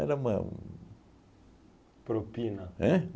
Era uma um... Propina. Ãn?